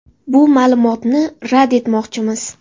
Bu ma’lumotni rad etmoqchimiz.